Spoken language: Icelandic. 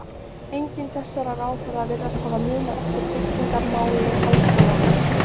Enginn þessara ráðherra virðist hafa munað eftir byggingamáli háskólans.